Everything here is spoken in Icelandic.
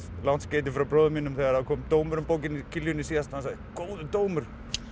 langt skeyti frá bróður mínum þegar það kom dómur um bókina í Kiljunni síðast góður dómur